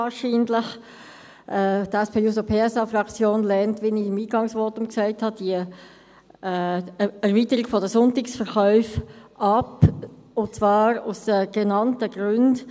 Die SPJUSO-PSA-Fraktion lehnt, wie ich es im Eingangsvotum gesagt habe, die Erweiterung der Sonntagsverkäufe ab, und zwar aus genannten Gründen.